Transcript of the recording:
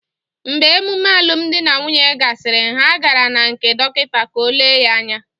Mgbe emume alụmdi na nwunye gasịrị, ha gara na nkè dọkịta ka o lee ya anya